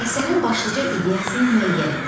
Əsərin başlıca ideyasını müəyyən et.